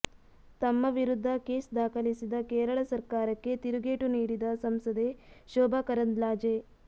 ತಮ್ಮ ವಿರುದ್ಧ ಕೇಸ್ ದಾಖಲಿಸಿದ ಕೇರಳ ಸರ್ಕಾರಕ್ಕೆ ತಿರುಗೇಟು ನೀಡಿದ ಸಂಸದೆ ಶೋಭಾ ಕರಂದ್ಲಾಜೆ